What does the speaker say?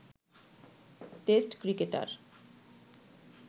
test cricketer